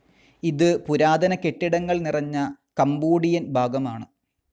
ഇത് പുരാതന കെട്ടിടങ്ങൾ നിറഞ്ഞ കംബോഡിയൻ ഭാഗമാണ്.